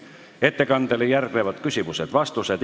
Ettekandele järgnevad küsimused ja vastused.